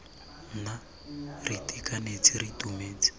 nna re itekanetse re itumetse